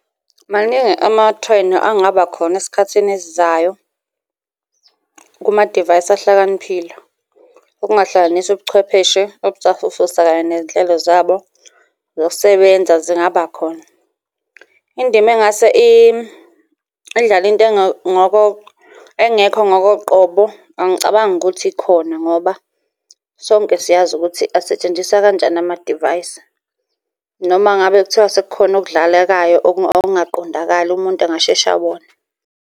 Maningi amathrendi angaba khona esikhathini esizayo kumadivayisi ahlakaniphile. Okungahlanganisa ubuchwepheshe obusafufusa kanye ney'nhlelo zabo zokusebenza zingaba khona. Indima engase idlale into engekho ngokoqobo, angicabangi ukuthi ikhona ngoba sonke siyazi ukuthi asetshenziswa kanjani amadivayisi noma ngabe kuthiwa sekukhona okudlalekayo okungaqondakali umuntu angasheshe abone.